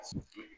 A y'o to yen